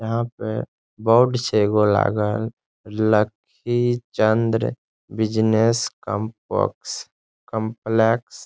यहां पे बोर्ड छै एगो लागल लकी चंद्र बिजनेस कंपॉक्स कॉम्प्लेक्स ।